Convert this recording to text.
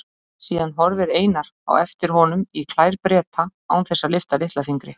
Síðan horfir Einar á eftir honum í klær Breta án þess að lyfta litla fingri.